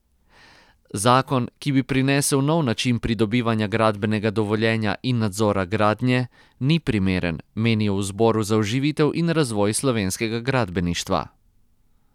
Zakon, ki bi prinesel nov način pridobivanja gradbenega dovoljenja in nadzora gradnje, ni primeren, menijo v Zboru za oživitev in razvoj slovenskega gradbeništva.